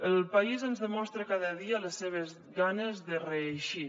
el país ens demostra cada dia les seves ganes de reeixir